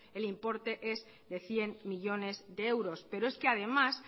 el importe des de cien millónes de euros pero es que además